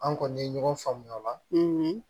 An kɔni ye ɲɔgɔn faamuy'o la